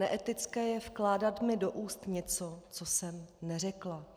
Neetické je vkládat mi do úst něco, co jsem neřekla.